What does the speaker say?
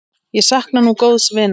Ég sakna nú góðs vinar.